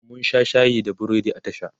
mun Sha shayi da burodi a tashan